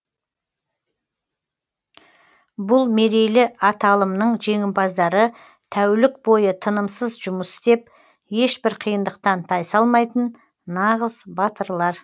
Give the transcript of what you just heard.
бұл мерейлі аталымның жеңімпаздары тәулік бойы тынымсыз жұмыс істеп ешбір қиындықтан тайсалмайтын нағыз батырлар